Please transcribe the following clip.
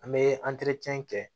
An bɛ kɛ